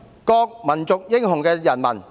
各民族英雄的人民！